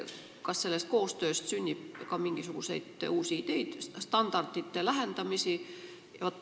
Kas sellest koostööst sünnib ka mingisuguseid uusi ideid ja standardite lähendamist?